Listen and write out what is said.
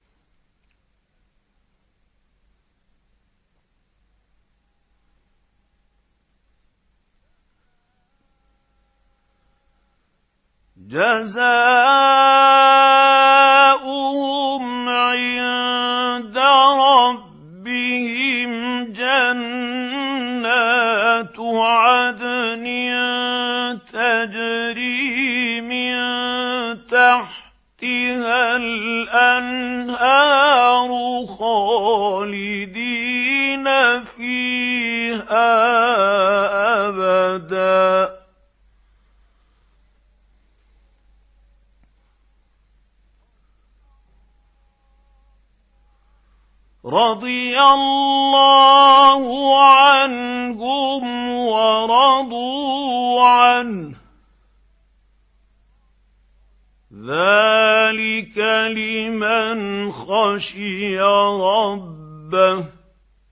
جَزَاؤُهُمْ عِندَ رَبِّهِمْ جَنَّاتُ عَدْنٍ تَجْرِي مِن تَحْتِهَا الْأَنْهَارُ خَالِدِينَ فِيهَا أَبَدًا ۖ رَّضِيَ اللَّهُ عَنْهُمْ وَرَضُوا عَنْهُ ۚ ذَٰلِكَ لِمَنْ خَشِيَ رَبَّهُ